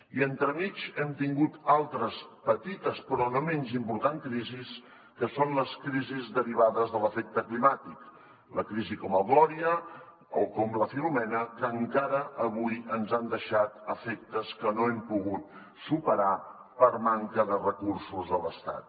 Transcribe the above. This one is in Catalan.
i entremig hem tingut altres crisis petites però no menys importants que són les crisis derivades de l’efecte climàtic les crisis com el gloria o com la filomena que encara avui ens han deixat efectes que no hem pogut superar per manca de recursos de l’estat